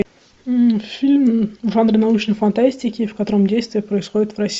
фильм в жанре научной фантастики в котором действие происходит в россии